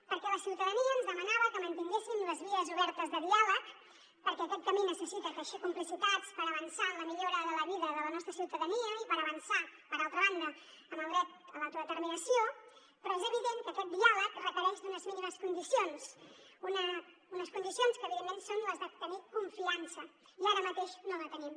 perquè la ciutadania ens demanava que mantinguéssim les vies obertes de diàleg perquè aquest camí necessita teixir complicitats per avançar en la millora de la vida de la nostra ciutadania i per avançar per altra banda en el dret a l’autodeterminació però és evident que aquest diàleg requereix unes mínimes condicions unes condicions que evidentment són les de tenir confiança i ara mateix no la tenim